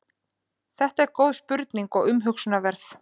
þetta er góð spurning og umhugsunarverð